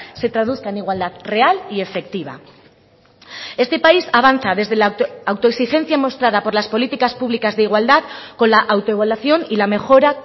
se traduzca en igualdad real y efectiva este país avanza desde la autoexigencia mostrada por las políticas públicas de igualdad con la autoevaluación y la mejora